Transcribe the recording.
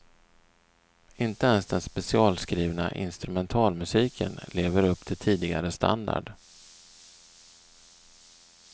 Inte ens den specialskrivna instrumentalmusiken lever upp till tidigare standard.